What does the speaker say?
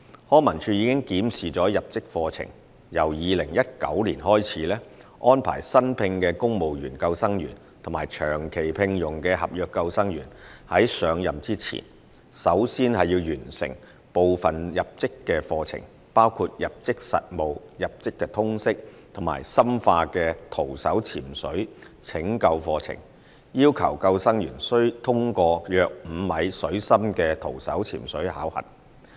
康文署已檢視入職課程，由2019年開始，安排新聘的公務員救生員及長期聘用的合約救生員在上任前，首先完成部分入職課程，包括入職實務、入職通識及深化的徒手潛水拯救課程，要求救生員須通過約5米水深的徒手潛水考核。